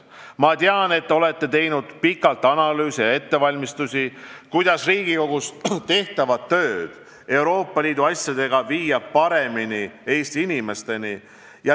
Ma tean, et te olete teinud pikalt analüüse ja ettevalmistusi, et Riigikogus tehtavat tööd Euroopa Liidu asjadega paremini Eesti inimesteni viia.